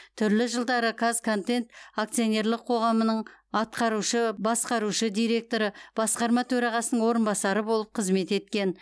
түрлі жылдары қазконтент акционерлік қоғамының атқарушы басқарушы директоры басқарма төрағасының орынбасары болып қызмет еткен